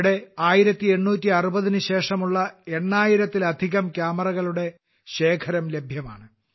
ഇവിടെ 1860 ന് ശേഷമുള്ള 8000 ൽ അധികം ക്യാമറകളുടെ ശേഖരണം ലഭ്യമാണ്